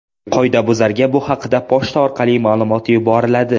Qoidabuzarga bu haqda pochta orqali ma’lumot yuboriladi.